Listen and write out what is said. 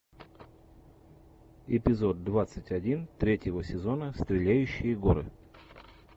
эпизод двадцать один третьего сезона стреляющие горы